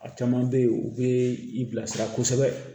A caman bɛ ye u bɛ i bilasira kosɛbɛ